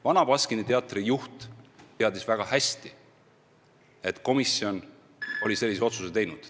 Vana Baskini Teatri juht teadis väga hästi, et komisjon oli sellise otsuse teinud.